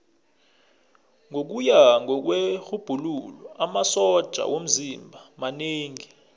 ngokuya kwerhubhululo amasotja womzimba manengi